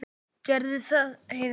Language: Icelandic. Gerðu það, Heiða mín.